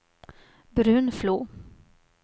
Brunflo